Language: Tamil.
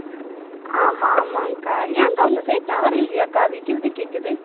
ஆமா ஆமாக்கா ஏன்கா உங்க side tower இல்லையாங்க்கா விட்டு விட்டு கேட்குது